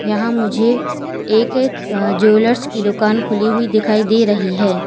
यहां मुझे एक अ ज्वेलर्स की दुकान खुली हुई दिखाई दे रही है।